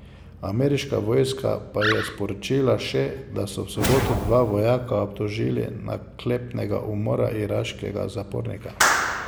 Ameriška vojska pa je sporočila še, da so v soboto dva vojaka obtožili naklepnega umora iraškega zapornika.